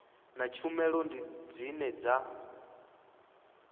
na tshumelo ndi dzine dza